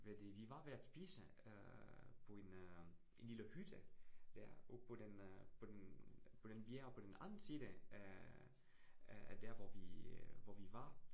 Ved det vi var ved at spise øh på en øh en lille hytte dér, oppe på den øh på den på den bjerg på den anden side af af der hvor vi øh der, hvor vi var